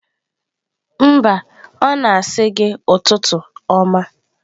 Mba, ọ na-asị gi ụtụtụ ọma